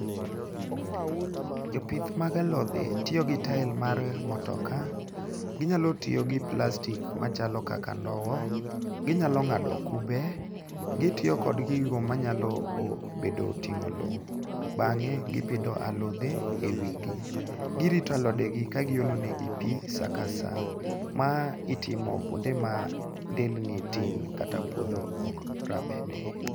Jopith mag alodhe tiyo gi tael mar mutoka, ginyalo tiyo gi plastic machalo kaka ndowo. Ginyalo ng'ado kube. Gitiyo kod gigo manyalo bedo, ting'o lowo. Bang'e, gipidho alodhe e wigi. Girito alodegi ka giolo nengi pi sa ka sa. Ma itimo kwonde ma ndelni tin kaka puodho ok rabede.